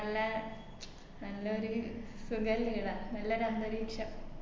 നല്ല നല്ലൊരു നല്ലൊരു അന്തരീക്ഷം